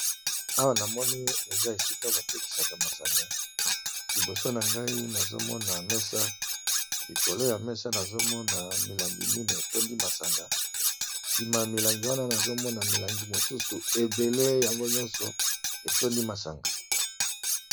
Awa na moni eza esika ba tekisaka masanga liboso na ngai nazo mona mesa likolo ya mesa nazo mona milangi minei etondi masanga, nsima ya milangi wana nazo mona milangi mosusu ebele yango nyonso etondi masanga.